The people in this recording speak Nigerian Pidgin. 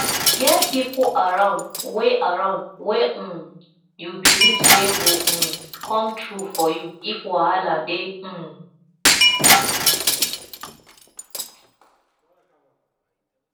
get pipo around wey around wey um you belive sey go um come through for you if wahala dey um